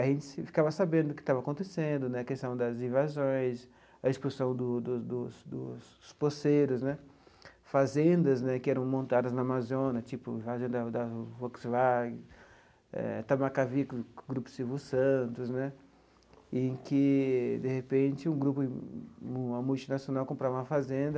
a gente ficava sabendo o que estava acontecendo né, a questão das invasões, a expulsão do do dos dos poceiros né, fazendas né que eram montadas na Amazônia, tipo fazenda da da Volkswagen, eh Tamakavy com com o grupo Silvio Santos né, em que, de repente, um grupo uma multinacional comprava uma fazenda